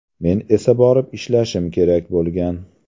Men esa borib ishlashim kerak bo‘lgan.